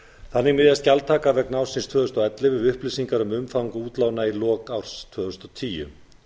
þannig miðast gjaldtaka vegna ársins tvö þúsund og ellefu við upplýsingar um umfang útlána í lok árs tvö þúsund og tíu